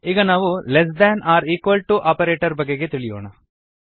ಈಗ ನಾವು less than or equal to operator ಬಗೆಗೆ ತಿಳಿಯೋಣ